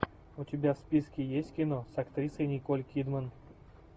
у тебя в списке есть кино с актрисой николь кидман